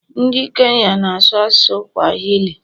Ndị Kenya na-asụ asụsụ Swahili